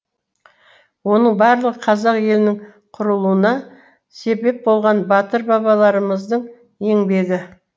оның барлығы қазақ елінің құрылуына себеп болған батыр бабаларымыздың еңбегі